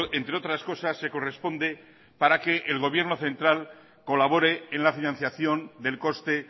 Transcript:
entre otras cosas se corresponde para que el gobierno central colabore en la financiación del coste